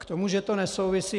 K tomu, že to nesouvisí.